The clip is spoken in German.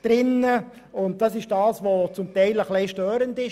Das wurde teilweise als störend empfunden.